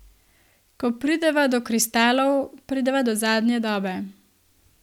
Ko prideva do kristalov, prideva do zadnje dobe.